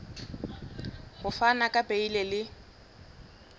ho fana ka beile le